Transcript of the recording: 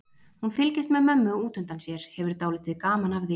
Hún fylgist með mömmu út undan sér, hefur dálítið gaman af því.